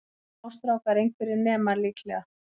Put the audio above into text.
Smástrákar, einhverjir nemar líklega.